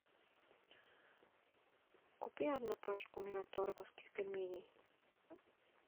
купи одну пачку мираторговских пельменей